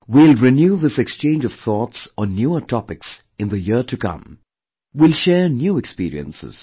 We will renew this exchange of thoughts on newer topics in the year to come, we'll share new experiences